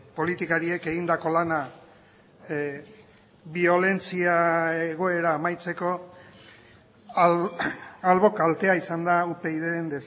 politikariek egindako lana biolentzia egoera amaitzeko albo kaltea izan da upydren